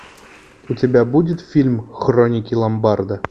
у тебя будет фильм хроники ломбарда